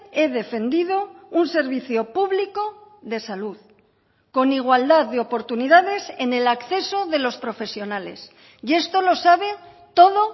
he defendido un servicio público de salud con igualdad de oportunidades en el acceso de los profesionales y esto lo sabe todo